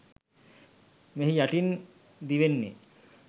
මෙහි යටින් දිවෙන්නේ